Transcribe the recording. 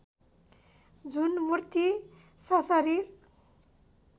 जुन मूर्ति सशरीर